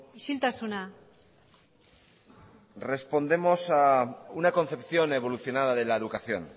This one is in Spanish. isiltasuna respondemos a una concepción evolucionada de la educación